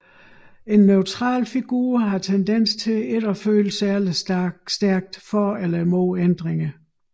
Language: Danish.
En neutral figur har tendens til ikke at føle særlig stærkt for eller imod ændringer